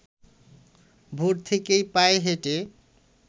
ভোর থেকেই পায়ে হেঁটে